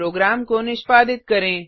programme को निष्पादित करें